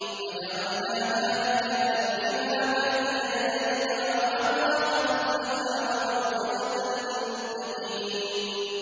فَجَعَلْنَاهَا نَكَالًا لِّمَا بَيْنَ يَدَيْهَا وَمَا خَلْفَهَا وَمَوْعِظَةً لِّلْمُتَّقِينَ